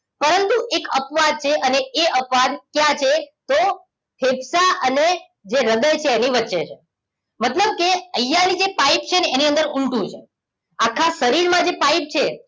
એક અપવાદ છે અને એ અપવાદ ક્યાં છે તો ફેફસા અને જે હ્રદય છે એની વચ્ચે છે મતલબ કે અહિયાં ની જે પાઇપ છે ને એની અંદર ઉલટું છે આખા શરીર માં જે પાઇપ છે